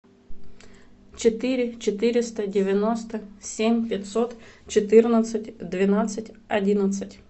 четыре четыреста девяносто семь пятьсот четырнадцать двенадцать одиннадцать